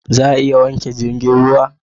Za a iya wanke jirgin ruwa?